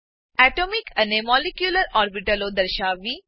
atomic અને molecular ઓર્બીટો દર્શાવવી